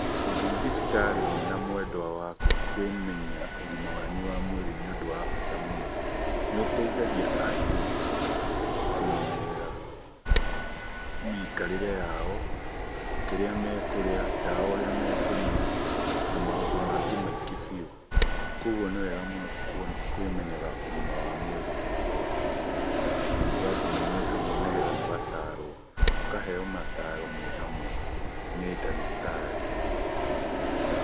Gũthiĩ thibitarĩ mwĩna mwenda waku kwĩmenya ũgima wanyu wa mwĩrĩ nĩũndũ wa bata mũno. Nĩ ũteithagia andũ kũmenyerera mĩikarĩre yao, kĩrĩa mekũrĩa, ndawa ũrĩa mekũnyua, na maũndũmangĩ maingĩ biũ. Koguo nĩ wega mũno kwĩmenyaga ũgima wa mwĩrĩ o hingo, na mũgathiĩ mwĩ hamwe nĩgetha mũgatarwo, mũkaheo mataro mwĩ hamwe nĩ ndagĩtarĩ.